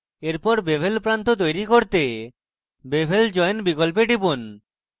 এরপর bevel প্রান্ত তৈরী করতে bevel join বিকল্পে টিপুন